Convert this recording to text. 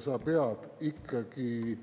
Sa pead siis ikkagi